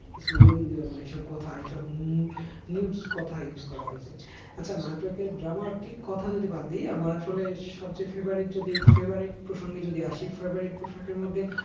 মানে এইসব কথা এইসব উম কথা use করা হয়েছে আচ্ছা নাটকের dramatic কথা যদি বাদ দিই, আমার আসলে সবচেয়ে favorite যদি favorite প্রসঙ্গে যদি আসি favorite প্রসঙ্গের মধ্যে